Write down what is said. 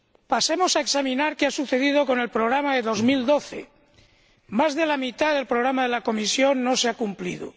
Pasemos a examinar qué ha sucedido con el programa de 2012. Más de la mitad del programa de la Comisión no se ha cumplido.